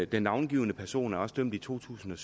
den navngivne person blev også dømt i to tusind